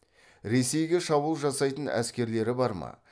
ресейге шабуыл жасайтын әскерлері бар ма